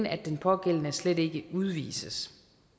at den pågældende slet ikke udvises